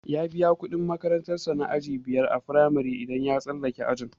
Ya biya kudin makarantar sa na aji biyar a firamare idan ya tsallake ajin.